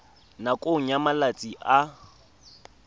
nakong ya malatsi a le